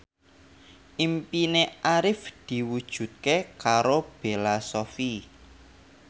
impine Arif diwujudke karo Bella Shofie